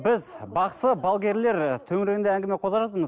біз бақсы балгерлер төңірегінде әңгіме қозғап жатырмыз